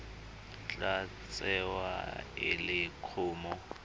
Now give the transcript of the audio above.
tla tsewa e le kumo